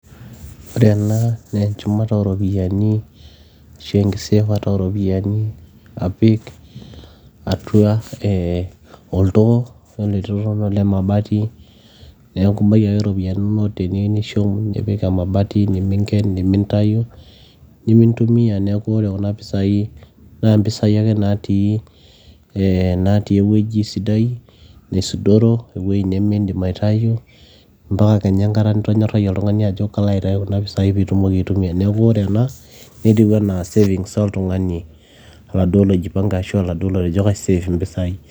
ore ena naa enchumata oropiyiani ashu enkiseefata ooropiyiani apik atua eh, oltoo yiolo ele too naa ole mabati neeku ibaiki ake iropiyiani inonok teniyieu nishum nipik emabati neminken nemintayu nemintumia neeku ore kuna pisai naa impisai ake natii eh natii ewueji sidai nisudoro ewueji nimindim aitayu mpaka kenya enkata nitonyorrayie oltung'ani ajo kalo aitayu kuna pisai piitumoki aitumia neeku ore ena netiu enaa savings oltung'ani oladuo loijipange ashu oladuo lotejo kaisef impisai.